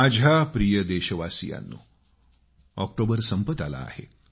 माझ्या प्रिय देशवासियांनो ऑक्टोबर संपत आला आहे